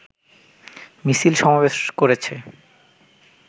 মিছিল সমাবেশ করেছে